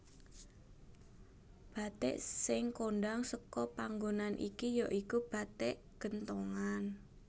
Bathik sing kondhang seka panggonan iki ya iku bathik genthongan